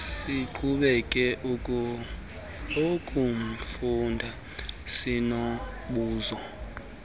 siqhube ukuufunda sinombuzo